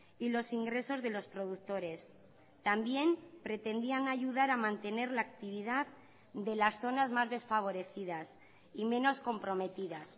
y los ingresos de los productores también pretendían ayudar a mantener la actividad de las zonas más desfavorecidas y menos comprometidas